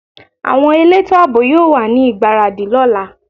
Àwọn elétò àbò yóò wà ní ìgbáradì lọ́la